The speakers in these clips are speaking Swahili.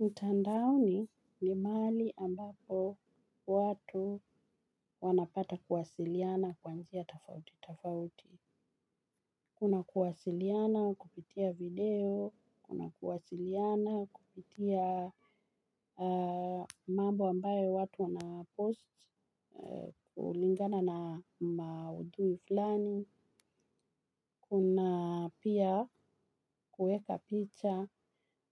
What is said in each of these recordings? Mtandaoni ni maali ambapo watu wanapata kuwasiliana kwa njia tafauti, tafauti. Kuna kuwasiliana kupitia video, kuna kuwasiliana kupitia mambo ambayo watu wanapost kulingana na maudhui flani. Kuna pia kueka picha,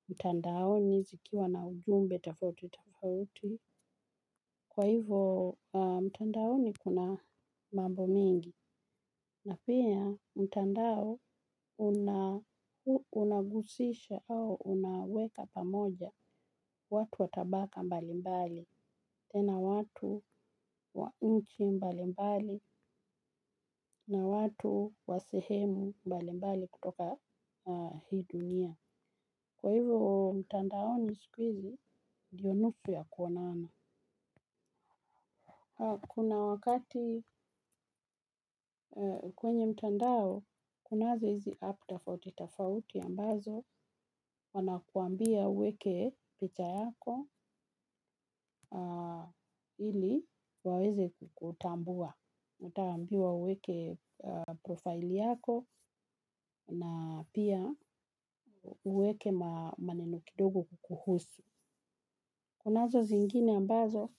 mtandaoni zikiwa na ujumbe tafauti, tafauti. Kwa hivo mtandaoni kuna mambo mengi na pia mtandao unagusisha au unaweka pamoja watu wa tabaka mbali mbali. Tena watu wa inchi mbali mbali na watu wa sehemu mbali mbali kutoka hii dunia. Kwa hivo mtandaoni sikuizi, ndiyo nusu ya kuonana. Kuna wakati kwenye mtandao, kunazo hizi app tafauti tafauti ambazo, wanakuambia uweke picha yako ili waweze kukutambua. Utaambiwa uweke profile yako na pia uweke maneno kidogo kukuhusu. Kunazo zingine ambazo,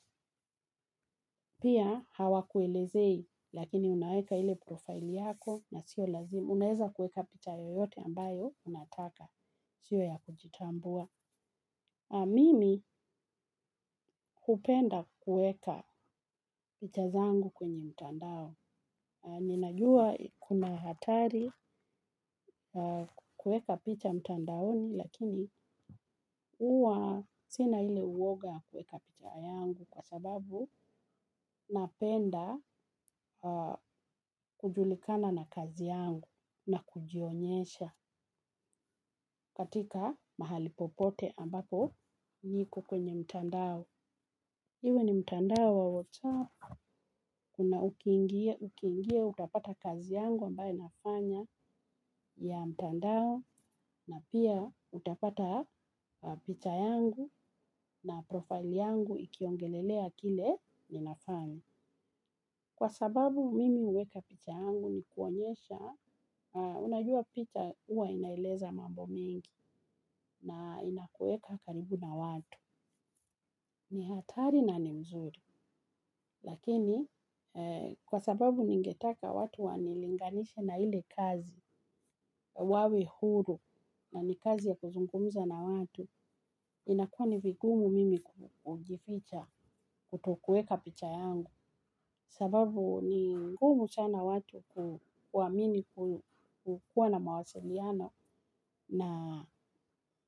pia hawakuelezei, lakini unaweka ile profile yako na sio lazima. Unaweza kuweka picha yoyote ambayo, unataka. Sio ya kujitambua. Mimi hupenda kueka picha zangu kwenye mtandao. Ninajua kuna hatari ya kuweka picha mtandao lakini huwa sina ule uoga kwa kuwa napenda kujulikana na kazi yangu na kujionyesha katika mahali popote ambapo niko kwenye mtandao. Iwe ni mtandao wa WhatsApp kuna ukiingia utapata kazi yangu ambayo nafanya ya mtandao na pia utapata picha yangu na profile yangu ikiongelelea kile ninafanya. Kwa sababu mimi huweka picha yangu ni kuonyesha, unajua picha huwa inaeleza mambo mingi na inakuweka karibu na watu. Ni hatari na ni mzuri lakini kwa sababu ningetaka watu wanilinganishe na ile kazi wawe huru na ni kazi ya kuzungumza watu inakuwa ni vigumu mimi kutoweka picha yangu. Sababu ni ngumu sana watu kuamini kukuwa na mawasiliano na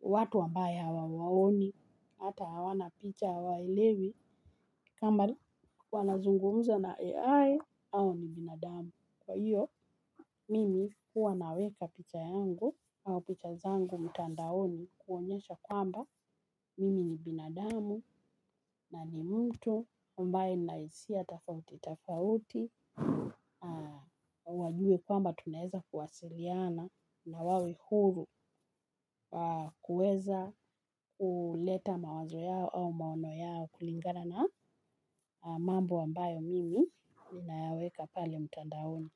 watu ambaye hawawaoni. Hata hawana picha hawaelewi. Kama bali wanazungumza na AI au ni binadamu. Kwa hiyo, mimi huwa naweka picha yangu au picha zangu mtandaoni kuonyesha kwamba. Mimi ni binadamu na ni mtu ambaye nina hisia tofauti tofauti. Wajue kwamba tunaweza kuwasiliana na wawe huru kuweza kuleta mawazo yao au maono yao kulingana na mambo ambayo mimi ninayaweka pale mtandaoni.